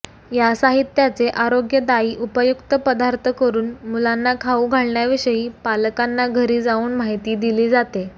या साहित्याचे आरोग्यदायी उपयुक्त पदार्थ करून मुलांना खाऊ घालण्याविषयी पालकांना घरी जाऊन माहिती दिली जाते